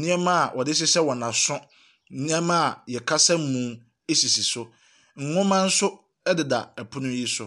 Nneɛma a wɔde hyehyɛ wɔn aso, nneɛma yɛkasa mu sisi so. Nwoma nso deda pono yi so.